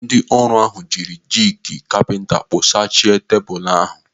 Ndị ọrụ ahụ jiri jigi kapinta kpụ̀chàsia tebụl ahụ.